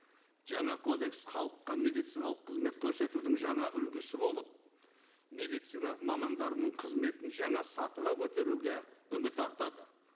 жаңа кодекс халыққа медициналық қызмет көрсетудің жаңа үлгісі болып медицина мамандарының қызметін жаңа сатыға көтеруге үміт артады